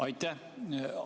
Aitäh!